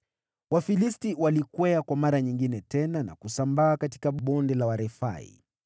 Wafilisti walikwea kwa mara nyingine na kusambaa katika Bonde la Warefai.